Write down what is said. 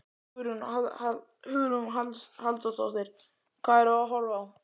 Hugrún Halldórsdóttir: Hvað erum við að horfa á?